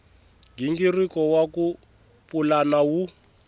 nghingiriko wa ku pulana wu